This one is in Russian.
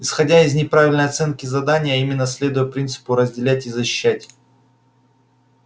исходя из неправильной оценки задания а именно следуя принципу разделять и защищать